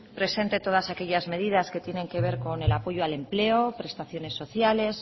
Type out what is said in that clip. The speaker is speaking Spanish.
presente todas aquellas medidas que tienen que ver con el apoyo al empleo prestaciones sociales